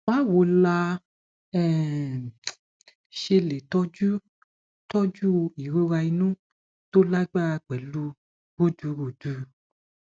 báwo la um ṣe lè toju toju irora inu to lagbara pelu rudurudu